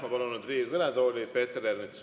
Ma palun nüüd Riigikogu kõnetooli Peeter Ernitsa.